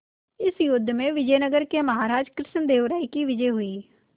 इस युद्ध में विजय नगर के महाराज कृष्णदेव राय की विजय हुई